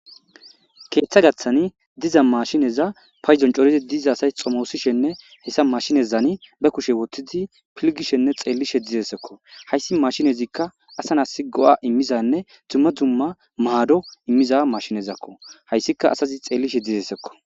Ketha gatan diza mashinne paydon c'oridi diza asay xomosishene heysa mashinezanni be kushe wotidi pilgishenne xelishe dizaysakko haysi mashinnezika asa nasi go'a imizanne duma duma mado imiza mashinnezakko haysika asazi xelishe dizesiko.